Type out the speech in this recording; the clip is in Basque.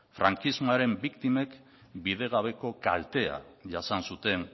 frankismoaren biktimek bidegabeko kaltea jasan zuten